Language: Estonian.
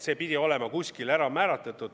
See peab olema kuskil kindlaks määratud.